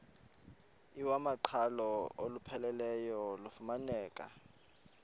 iwamaqhalo olupheleleyo lufumaneka